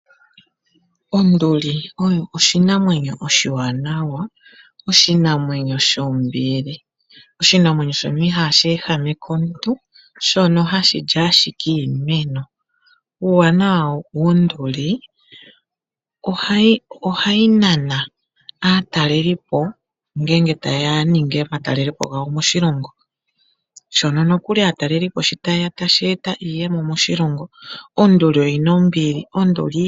Onduli oyo oshinamwenyo oshiwaanawa, oshinamwenyo shombili, oshinamwenyo shono ihaashi ehameke omuntu, shono hashili ashike iimeno. Uuwanawa wonduli ohayi nana aatalelipo ngenge tayeya yaninge omatelelepo gawo moshilongo. Shono nokuli aatalelipo shi tayeya tashi eta iiyemo moshilongo, onduli oyina ombili.